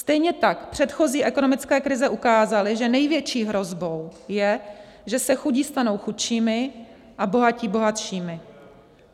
Stejně tak předchozí ekonomické krize ukázaly, že největší hrozbou je, že se chudí stanou chudšími a bohatí bohatšími.